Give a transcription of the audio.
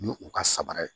Ni u ka sabara ye